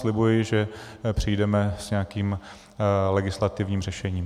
Slibuji, že přijdeme s nějakým legislativním řešením.